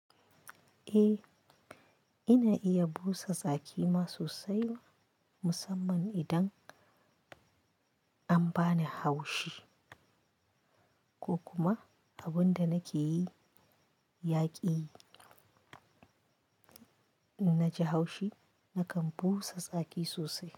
Eh, ina iya busa tsaki ma sosai musamman idan an bani haushi ko kuma abin da nake yi ya ƙi. In naji haushi, nakan busa tsaki sosai.